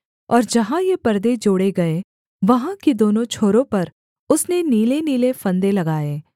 और जहाँ ये परदे जोड़े गए वहाँ की दोनों छोरों पर उसने नीलेनीले फंदे लगाए